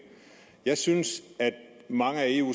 jeg synes at mange af eu